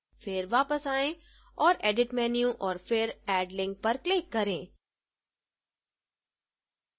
फिर वापस आएँ और edit menu और फिर add link पर click करें